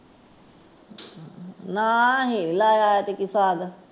ਨਾ ਨਹੀਂ ਲਾਯਾ ਅੱਜ ਕੇ ਸਾਗ